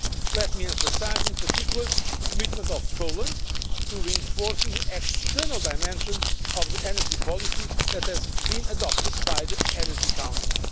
Let me emphasise in particular the commitment of Poland to reinforcing the external dimension of the energy policy that has been adopted by the Energy Council.